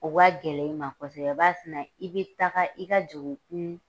O ka gɛlɛn i ma kosɛbɛ b'a sina i bɛ taga i ka jugukun